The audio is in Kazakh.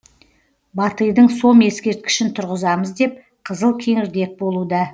батыйдың сом ескерткішін тұрғызамыз деп қызыл кеңірдек болуда